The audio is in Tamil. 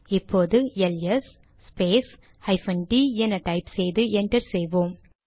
இப்போது எல்எஸ் ஸ்பேஸ் ஹைபன் டிd என டைப் செய்து என்டர் செய்வோம்